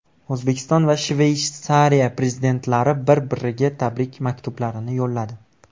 O‘zbekiston va Shveysariya prezidentlari bir-biriga tabrik maktublarini yo‘lladi.